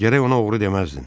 Gərək ona oğru deməzdin.